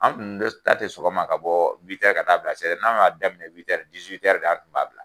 Anw dun ta tɛ sɔgɔma ka bɔ ka t'a bila n'anw y'a daminɛ de an tun b'a bila